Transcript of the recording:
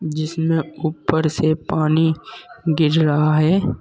जिसमें ऊपर से पानी गिर रहा है।